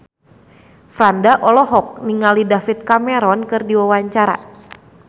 Franda olohok ningali David Cameron keur diwawancara